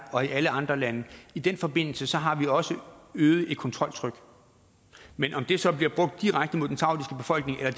og i alle andre lande i den forbindelse har vi også et øget kontroltryk men om det så bliver brugt direkte mod den saudiske befolkning eller